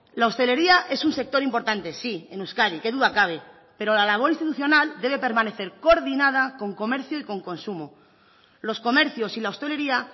la hostelería es un sector importante sí en euskadi qué duda cabe pero la labor institucional debe permanecer coordinada con comercio y con consumo los comercios y la hostelería